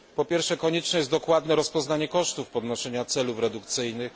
Po pierwsze, konieczne jest dokładne rozpoznanie kosztów podnoszenia celów redukcyjnych.